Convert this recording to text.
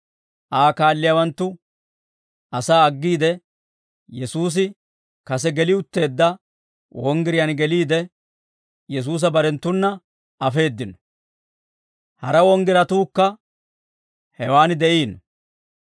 Aa kaalliyaawanttu asaa aggiide, Yesuusi kase geli utteedda wonggiriyaan geliide, Yesuusa barenttuna afeeddino; hara wonggiratuukka hewaan de'iino.